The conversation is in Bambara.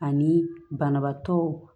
Ani banabaatɔ